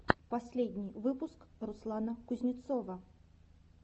последний выпуск руслана кузнецова